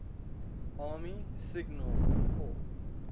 army signal corps